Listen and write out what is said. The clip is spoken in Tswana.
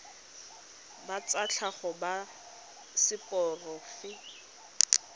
ba tsa tlhago ba seporofe